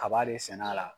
Kaba de sɛnɛ a la